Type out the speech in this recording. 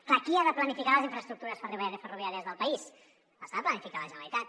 clar qui ha de planificar les infraestructures ferroviàries del país les ha de planificar la generalitat